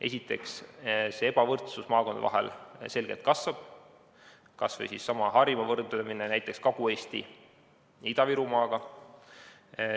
Esiteks, ebavõrdsus maakondade vahel selgelt kasvab, võrdleme kas või Harjumaad näiteks Kagu-Eesti ja Ida-Virumaaga.